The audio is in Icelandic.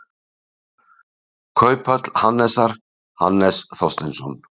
Kauphöll Hannesar, Hannes Þorsteinsson.